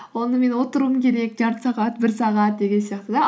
онымен отыруым керек жарты сағат бір сағат деген сияқты да